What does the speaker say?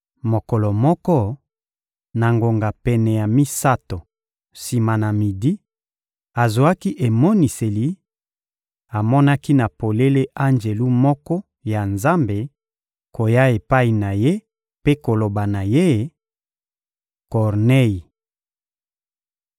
Mokolo moko, na ngonga pene ya misato sima na midi, azwaki emoniseli; amonaki na polele anjelu moko ya Nzambe koya epai na ye mpe koloba na ye: — Kornei!